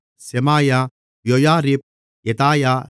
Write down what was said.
செமாயா யோயாரிப் யெதாயா